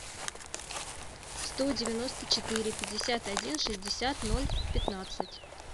сто девяносто четыре пятьдесят один шестьдесят ноль пятнадцать